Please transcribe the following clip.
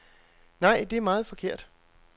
Nej, det er meget forkert.